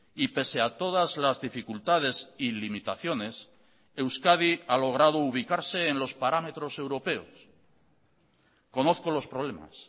y pese a todas las dificultades y limitaciones euskadi ha logrado ubicarse en los parámetros europeos conozco los problemas